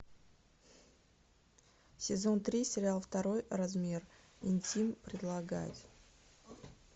сезон три сериал второй размер интим предлагать